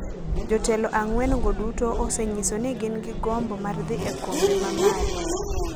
Jotelo ang’wen go duto osenyiso ni gin gi gombo mar dhi e kombe ma malo,